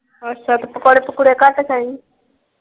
ਅੱਛਾ। ਤੇ ਪਕੌੜੇ ਪਕੂੜ੍ਹੇ ਘੱਟ ਖਾਈ।